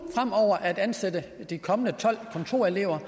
at ansætte de kommende tolv kontorelever